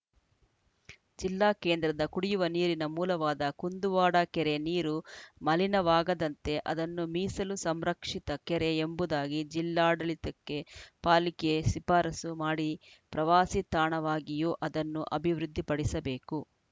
ಜಿಲ್ಲಾ ಕೇಂದ್ರದ ಕುಡಿಯುವ ನೀರಿನ ಮೂಲವಾದ ಕುಂದುವಾಡ ಕೆರೆ ನೀರು ಮಲಿನವಾಗದಂತೆ ಅದನ್ನು ಮೀಸಲು ಸಂರಕ್ಷಿತ ಕೆರೆ ಎಂಬುದಾಗಿ ಜಿಲ್ಲಾಡಳಿತಕ್ಕೆ ಪಾಲಿಕೆ ಶಿಫಾರಸು ಮಾಡಿ ಪ್ರವಾಸಿ ತಾಣವಾಗಿಯೂ ಅದನ್ನು ಅಭಿವೃದ್ಧಿಪಡಿಸಬೇಕು